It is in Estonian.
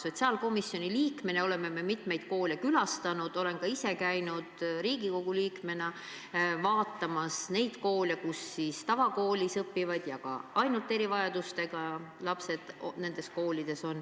Sotsiaalkomisjoni liikmetena oleme me mitmeid koole külastanud, olen ka ise käinud Riigikogu liikmena vaatamas neid koole, kus on tavakoolis õppivad ja ka ainult erivajadustega lapsed.